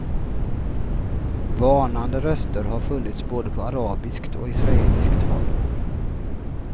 Varnande röster har funnits både på arabiskt och israeliskt håll.